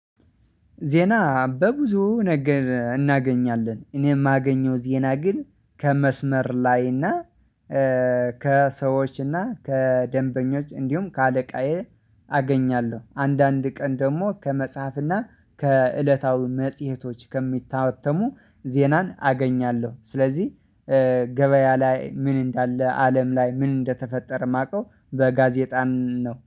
ዜና በብዙ ነገር እናገኛለን እኔ የማገኘው ዜና ግን ከመስመር ላይ እና ከሰዎች እና ከደንበኞች እንዲሁም ከአለቃዬ አገኛለሁ። አንዳንድ ቀን ደግሞ ከመጽሐፍና ከእለታዊ መጽሄቶች ከሚታተሙ ዜናን አገኛለሁ። ስለዚህ ገበያ ላይ ምን እንዳለ አለም ላይ ምን እንደተፈጠረ የማውቀው በጋዜጣን ነው